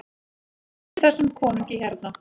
EKKI ÞESSUM KONUNGI HÉRNA!